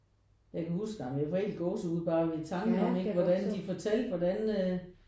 Jeg kan huske ej men jeg får helt gåsehud bare ved tanken om ikke hvordan de fortalte hvordan øh